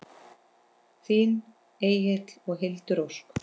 Þín Egill og Hildur Ósk.